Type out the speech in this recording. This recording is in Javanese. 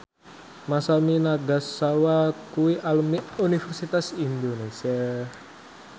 Masami Nagasawa kuwi alumni Universitas Indonesia